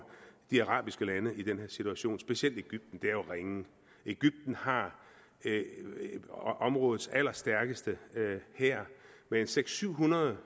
de arabiske lande i den her situation specielt egypten det er jo ringe egypten har områdets allerstærkeste hær med seks hundrede